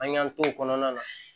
An y'an t'o kɔnɔna na